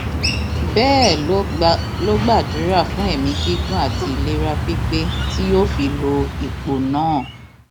bẹẹ ló gbàdúrà fún ẹmí gígùn àti ìlera pípé tí yóò fi lo ipò náà